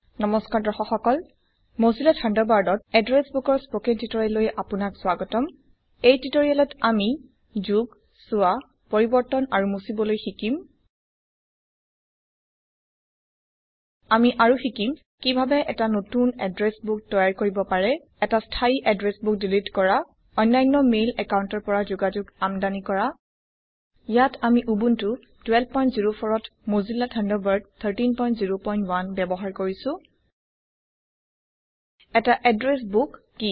নমস্কাৰ দৰ্শক সকল মোজিলা থান্ডাৰবাৰ্ডত এদ্ৰেছ বোকৰ স্পকেন টিউটোৰিয়েললৈ আপোনাক স্বাগতম এই টিউটোৰিয়েলত আমি যোগ চোৱা পৰিবৰ্তন আৰু মুছিবলৈ শিকিম আমি আৰু শিকিম160 কিভাবে এটা নতুন এদ্ৰে্ছ বোক তৈয়াৰ কৰিব পাৰে এটা স্থায়ী এদ্ৰে্ছ বোক দিলিট কৰা অন্যান্য মেইল অ্যাকাউন্টৰ পৰা যোগাযোগ আমদানি কৰা ইয়াত আমি উবুন্টু 1204 ত মোজিলা থান্ডাৰবাৰ্ড 1301 ব্যবহাৰ কৰিছো এটি এদ্ৰেছ বোক কি